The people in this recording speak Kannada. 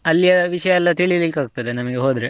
ಅಲ್ಲಿಯ ವಿಷಯ ಎಲ್ಲಾ ತಿಳಿಲಿಕ್ಕೆ ಆಗ್ತದೆ ನಮಿಗೆ ಹೋದ್ರೆ.